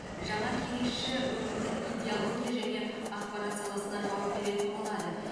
жаңа кеңесші өңірдің идеология және ақпарат саласына жауап беретін болады